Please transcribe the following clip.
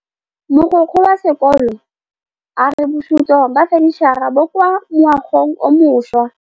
Mogokgo wa sekolo a re bosutô ba fanitšhara bo kwa moagong o mošwa.